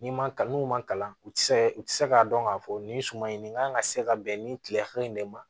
N'i ma kalan n'u ma kalan u tɛ se ka u tɛ se k'a dɔn k'a fɔ nin suma in nin kan ka se ka bɛn nin kile hakɛ in de ma